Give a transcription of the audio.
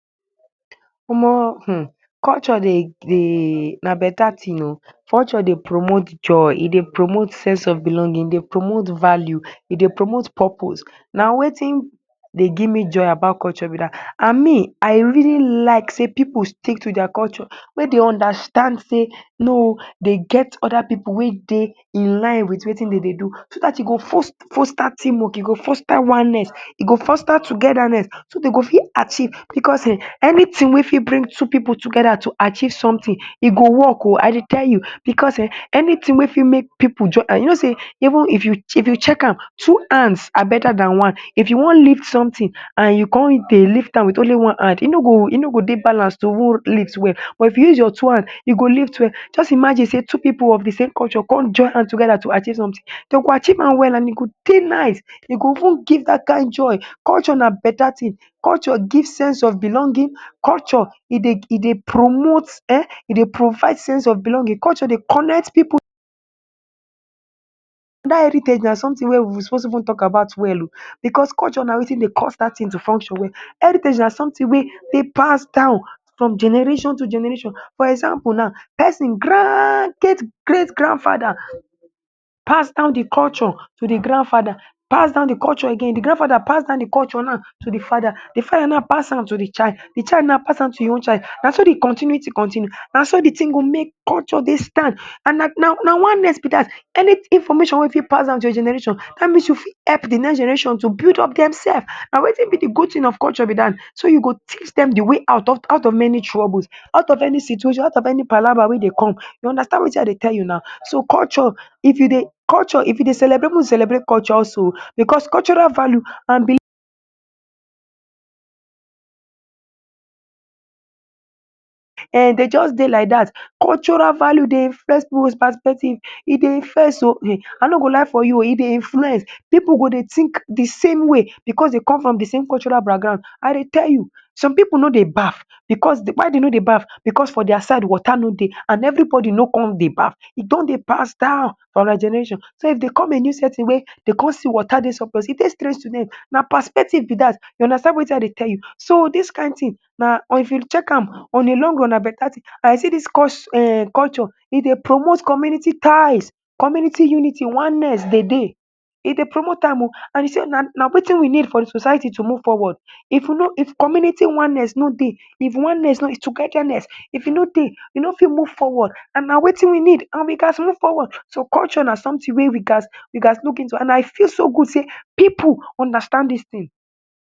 Omoh um culture dey dey na beta tin oh. Culture dey promote joy, e dey promote sense of belonging, e dey promote value, e dey promote purpose. Na wetin dey gimme joy about culture be dat. An me I really like sey pipu stick to dia culture, make de understand sey no oh de get other pipu wey dey in line with wetin de dey do so dat e go foster team work, e go foster oneness, e foster togetherness so de go fit achieve. Becos um anytin wey fit bring two pipu together to achieve sumtin, e go work oh, I dey tell you. Becos um anytin wey fit make pipu join hand, you know sey even if you if you check am two hands are beta than one. If you wan lift sumtin, an you con dey lift am with only one hand, e no go e no go dey balance to even lift well. But if you use your two hand, e go lift well. Juz imagine sey two pipu of di same culture con join hand together to achieve sumtin. De go achieve an well, an e go dey nice. E go even give dat kain joy. Culture na beta tin, culture give sense of belonging. Culture, e dey e dey promote um e dey provide sense of belonging. Culture dey connect pipu. Dat heritage na sumtin wey we suppose even talk about well oh becos culture na wetin dey cause dat tin to function well. Heritage na sumtin wey dey pass down from generation to generation. For example now, pesin grand gate great grandfather pass down di culture to di grandfather, pass down di culture again, di grandfather pass down di culture nau to di father, di father nau pass am to di child, di child nau pass an to ein own child. Na so di continuity continue, na so di tin go make culture dey stand. An na na na oneness be dat. Any information wey fit pass down to your generation, dat means you fit help di next generation to build up demsef. Na wetin be di good tin of culture dat. So, you go teach dem di way out of out of many troubles, out of any situation, out of any palava wey dey come. You understand wetin I dey tell you nau. So culture, if you dey culture if you dey celebrate pipu celebrate cultures oh becos cultural value an um de juz dey like dat. Cultural value dey influence pipu's perspective, e dey influence oh. um I no go lie for you, e dey influence. Pipu go dey think di same way becos dey come from di same cultural background. I dey tell you. Some pipu no dey bath becos why de no dey bath? Becos for dia side, water no dey, an everybodi no con dey bath. E don dey pass down for another generation. So, if de come a new setting wey de con see water dey surplus, e dey strange to dem. Na perspective be dat. You understand wetin I dey tell you. So, dis kain tin na if you check am on a long run, na beta tin. um see dis um culture, e dey promote community ties. Community unity, oneness de dey. E dey promote am oh. An you see na na wetin we need for di society to move forward. If you no if community oneness no dey, if oneness no togetherness if e no dey, we no fit move forward, an na wetin we need, an we gaz move forward. So, culture na sumtin wey we gaz we gaz look into, an I feel so good sey pipu understand dis tin